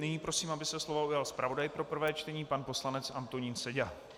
Nyní prosím, aby se slova ujal zpravodaj pro prvé čtení pan poslanec Antonín Seďa.